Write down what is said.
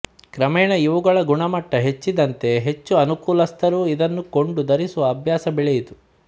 ಕ್ರಮೇಣ ಇವುಗಳ ಗುಣಮಟ್ಟ ಹೆಚ್ಚಿದಂತೆ ಹೆಚ್ಚು ಅನುಕೂಲಸ್ಥರೂ ಇದನ್ನು ಕೊಂಡು ಧರಿಸುವ ಅಭ್ಯಾಸ ಬೆಳೆಯಿತು